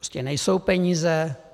Prostě nejsou peníze.